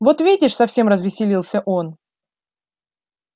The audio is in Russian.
вот видишь совсем развеселился он